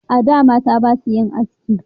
A da mata basu yin haski